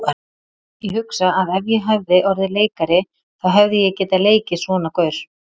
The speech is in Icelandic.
Ég hugsa að ef ég hefði orðið leikari þá hefði ég getað leikið svona gaur.